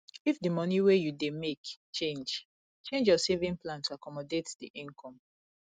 if di money wey you dey make change change your saving plan to accomodate di income